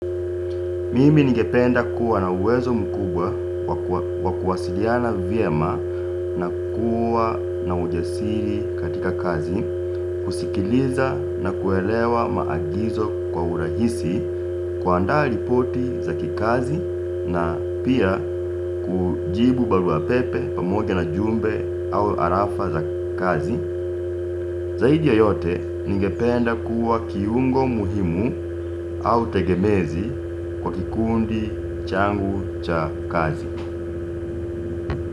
Mimi ningependa kuwa na uwezo mkubwa wa kuwasiliana vyema na kuwa na ujasiri katika kazi, kusikiliza na kuelewa maagizo kwa urahisi kuandaa lipoti za kikazi na pia kujibu baluwa pepe pamoja na jumbe au arafa za kazi. Zaidi ya yote ningependa kuwa kiungo muhimu au tegemezi kwa kikundi changu cha kazi.